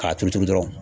K'a turu dɔrɔn